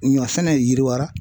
Ɲɔ fɛnɛ yiriwara